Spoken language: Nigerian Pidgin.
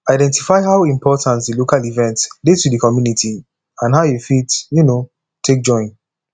identify how important di local event dey to di community and how you fit um take join